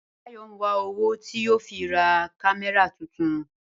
Báyò̩ ń wá owó tí yóò fi ra kámé̩rà tuntun